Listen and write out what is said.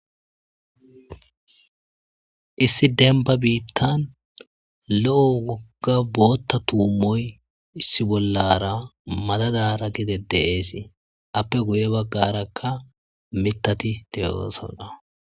issi denba biittan lo'o wogga bootta tuumoy issi bollara madadara gide de'esii appe guye baggarakka mitati de'osanna